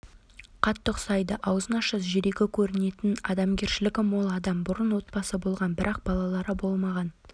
қатты ұқсайды аузын ашса жүрегі көрінетін адамгершілігі мол адам бұрын отбасы болған бірақ балалары болмаған